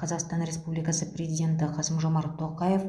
қазақстан республикасы президенті қасым жомарт тоқаев